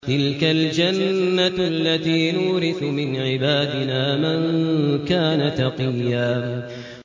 تِلْكَ الْجَنَّةُ الَّتِي نُورِثُ مِنْ عِبَادِنَا مَن كَانَ تَقِيًّا